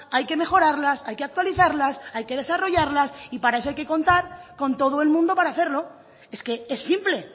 hay que mejorarlas hay que actualizarlas hay que desarrollarlas y parece que contar con todo el mundo para hacerlo es que es simple